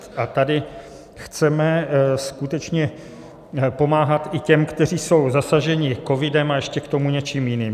Tady chceme skutečně pomáhat i těm, kteří jsou zasaženi covidem a ještě k tomu něčím jiným.